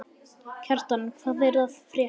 Kjartan, hvað er að frétta?